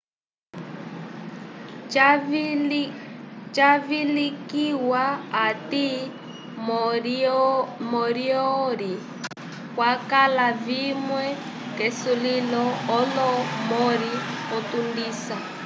cavilikihiwa ati moriori kwakala vimwe ke sulilo olo morri o tundisa